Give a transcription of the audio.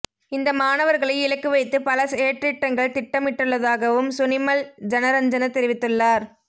இந்த மாணவர்களை இலக்கு வைத்து பல செயற்றிட்டங்கள் திட்டமிடப்பட்டுள்ளதாகவும் சுனிமல் ஜனரஞ்சன தெரிவித்துள்ளார்